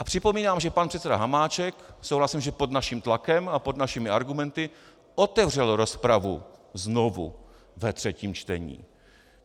A připomínám, že pan předseda Hamáček - souhlasím, že pod naším tlakem a pod našimi argumenty - otevřel rozpravu znovu ve třetím čtení.